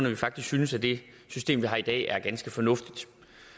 at vi faktisk synes at det system vi har i dag er ganske fornuftigt